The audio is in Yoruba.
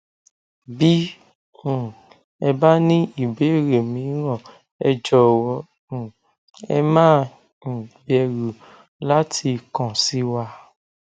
bí um ẹ bá ní ìbéèrè míràn ẹ jọwọ um ẹ má um bẹrù láti kàn sí wa